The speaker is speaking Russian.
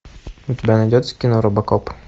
у тебя найдется кино робокоп